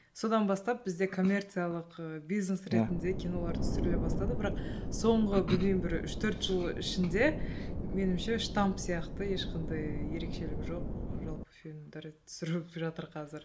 содан бастап бізде коммерциалық ы бизнес ретінде кинолар түсіріле бастады бірақ соңғы білмеймін бір үш төрт жыл ішінде меніңше штамп сияқты ешқандай ерекшелігі жоқ жалпы фильмдер түсіріліп жатыр қазір